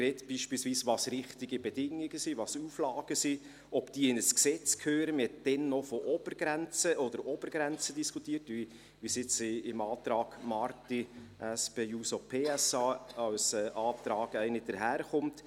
Man hat beispielsweise darüber gesprochen, was richtige Bedingungen sind, welches Auflagen sind, ob diese in ein Gesetz gehören – man hat damals noch über Obergrenzen diskutiert, wie jetzt im Antrag Marti, SP-JUSO-PSA, eine als Antrag daherkommt.